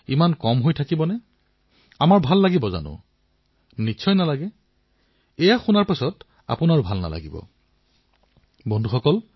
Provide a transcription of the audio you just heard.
আহত আমাৰ তৰুণসকলৰ বাবে নতুন ধৰণে উন্নত গুণগতমানৰ খেলাসামগ্ৰী প্ৰস্তুত কৰো